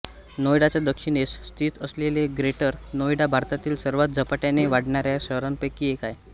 नोएडाच्या दक्षिणेस स्थित असलेले ग्रेटर नोएडा भारतातील सर्वात झपाट्याने वाढणाऱ्या शहरांपैकी एक आहे